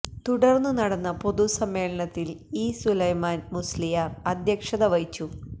തുടര്ന്ന് നടന്ന പൊതുസമ്മേളനത്തില് ഇ സുലൈമാന് മുസ്ലിയാര് അധ്യക്ഷത വഹിച്ചു